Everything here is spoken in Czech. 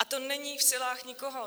A to není v silách nikoho.